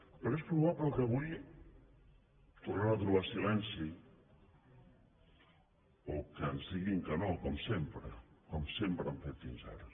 però és probable que avui tornem a trobar silenci o que ens diguin que no com sempre com sempre han fet fins ara